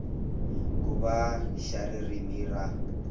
ku va xa ririmi ra